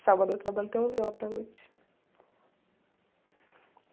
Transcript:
Sábado eu trabalho até onze horas da noite.